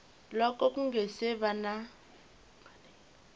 loko ku nga si va